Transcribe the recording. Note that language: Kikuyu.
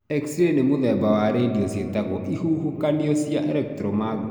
Xray nĩ mũthemba wa iradiyo cĩatagwo ihuhukanio cia electromagnet.